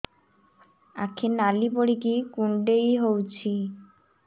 ଆଖି ନାଲି ପଡିକି କୁଣ୍ଡେଇ ହଉଛି